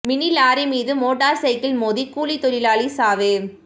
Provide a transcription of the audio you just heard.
mini lorry மீது motorcycle மோதி கூலித் தொழிலாளி சாவு